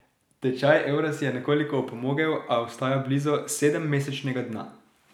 Tečaj evra si je nekoliko opomogel, a ostaja blizu sedemmesečnega dna.